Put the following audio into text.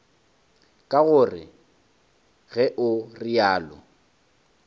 ke gore ge o realo